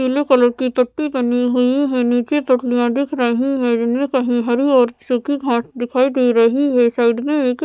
पीले कलर की पट्टी बनी हुई है नीचे पटलियाँ दिख रही हैं जिनमें कहीं हरी और सूखी खास दिखाई दे रही है साइड में एक --